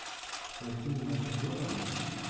с плохими актёрами